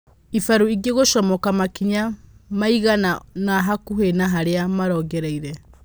ĩbaru ingĩ gũcomoka makinya maigana-ona hakuhĩ na harĩa marongoreirie.